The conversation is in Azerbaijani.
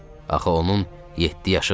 Axı onun yeddi yaşı vardı.